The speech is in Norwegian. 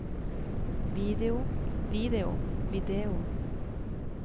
video video video